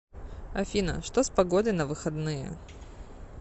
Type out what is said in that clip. афина что с погодой на выходные